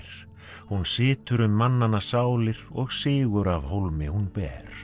hún situr um mannanna sálir og sigur af hólmi hún ber